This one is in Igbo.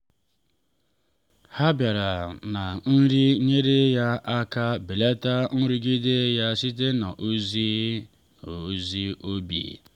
ha bịara na nri nyere ya aka belata nrụgide ya site n’ezi n’ezi obi.